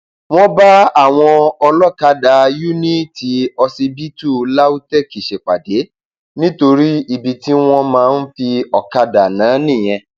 wọn bá àwọn olókàdá yuniiti ọsibítù lautech ṣèpàdé nítorí ibi tí wọn máa ń fi ọkadà ná nìyẹn